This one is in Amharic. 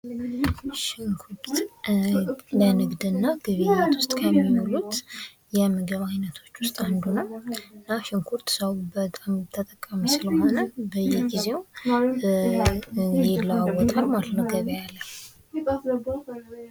ሽንኩርት ለንግድ እና ግብይት ውስጥ ከሚውሉት የምግብ አይነቶች ውስጥ አንዱ ነው ። እና ሽንኩርት ሰው በጣም ተጠቃሚ ስለሆነ በየጊዜው ይለዋወጣል ማለት ነው ገቢያ ላይ ።